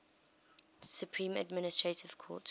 supreme administrative court